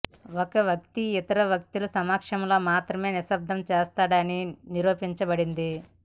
ఒక వ్యక్తి ఇతర వ్యక్తుల సమక్షంలో మాత్రమే నిశ్శబ్దం చేస్తాడు అని నిరూపించబడింది